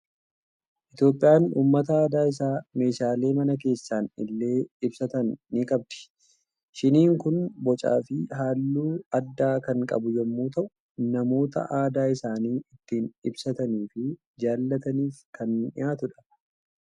Itoophiyaan uummata aadaa isaa meeshaalee mana keessan illee ibsatan ni qabdi. Shiniin kun bocaa fi halluu addaa kan qabu yommuu ta'u, namoota aadaa isaanii ittiin ibsatanii fi jaalataniif kan dhiyaatuudha.